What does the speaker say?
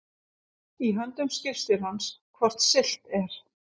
Í höndum skipstjórans hvort siglt er